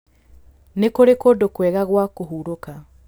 Nĩ kũrĩ kũndũ kwega gwa kũhurũka.